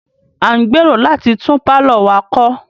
A ń gbèrò láti tún pálọ̀ wa kọ́.